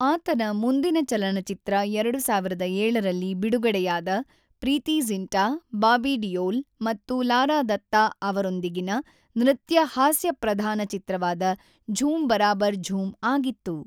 ಆತನ ಮುಂದಿನ ಚಲನಚಿತ್ರ ೨೦೦೭ರಲ್ಲಿ ಬಿಡುಗಡೆಯಾದ ಪ್ರೀತಿ ಝಿಂಟಾ, ಬಾಬಿ ಡಿಯೋಲ್ ಮತ್ತು ಲಾರಾ ದತ್ತಾ ಅವರೊಂದಿಗಿನ ನೃತ್ಯ-ಹಾಸ್ಯಪ್ರಧಾನ ಚಿತ್ರವಾದ ಜ಼ೂಮ್ ಬರಾಬರ್ ಜ಼ೂಮ್ ಆಗಿತ್ತು.